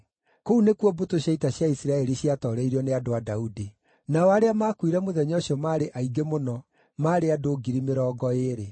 Kũu nĩkuo mbũtũ cia ita cia Isiraeli ciatooreirio nĩ andũ a Daudi. Nao arĩa maakuire mũthenya ũcio maarĩ aingĩ mũno, maarĩ andũ ngiri mĩrongo ĩĩrĩ.